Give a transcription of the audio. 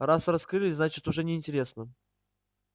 раз раскрыли значит уже неинтересно